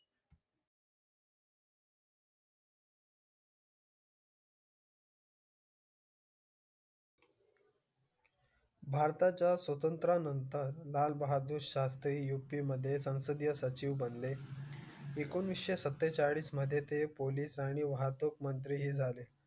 भारताच्या स्वातंत्र्या नंतर लाल बहादूर शास्त्री यू पी मध्ये संसदीय सचिव बनले. एकोणीसशे सत्तेचाळीस मध्ये ते पोलीस आणि वाहतूक मंत्री झाले.